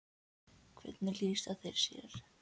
Hvernig lýsa þeir sér?